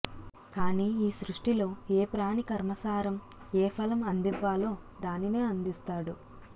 కానీ ఈ సృష్టిలో ఏ ప్రాణి కర్మసారం ఏఫలం అందివ్వాలో దానినే అందిస్తాడు